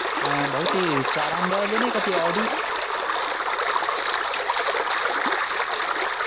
अह भाऊ ती चार अंड्या वाली नाही का ती ऑडी